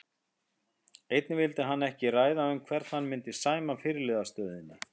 Einnig vildi hann ekki ræða um hvern hann myndi sæma fyrirliðastöðunni.